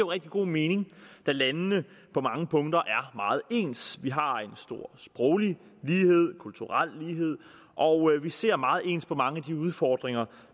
rigtig god mening da landene på mange punkter er meget ens vi har en stor sproglig lighed en kulturel lighed og vi ser meget ens på mange af de udfordringer